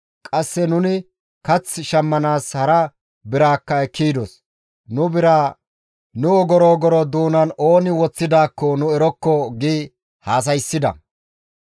Qasse nuni kath shammanaas hara biraakka ekki yidos. Nu biraa nu ogoro ogoro doonan ooni woththidaakko nu erokko» gi haasayssida.